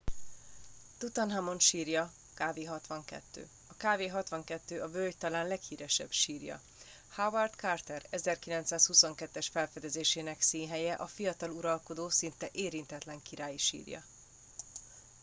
tutanhamon sírja kv 62. a kv 62 a völgy talán leghíresebb sírja. howard carter 1922-es felfedezésének színhelye a fiatal uralkodó szinte érintetlen királyi sírja